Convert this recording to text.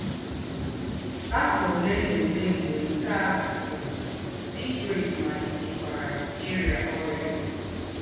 Áfọ́ ólé nà ólé mgbè nké à gàsìrì, dí Grace màlìtèkwàrà íríá órị́à.